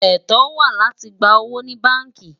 ètò wà láti gbà owó ní bánkì